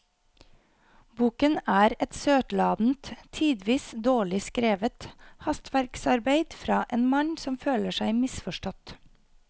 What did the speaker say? Boken er et søtladent, tidvis dårlig skrevet hastverksarbeid fra en mann som føler seg misforstått.